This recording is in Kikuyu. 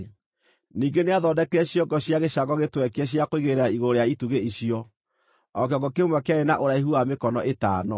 Ningĩ nĩathondekire ciongo cia gĩcango gĩtwekie cia kũigĩrĩra igũrũ rĩa itugĩ icio, o kĩongo kĩmwe kĩarĩ na ũraihu wa mĩkono ĩtano.